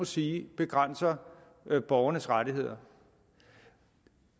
sige begrænser borgernes rettigheder